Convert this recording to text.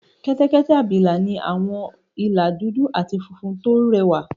Kẹ́tẹ́kẹ́tẹ́ abìlà ní àwọn ìlà dúdú àti funfun tó rẹwà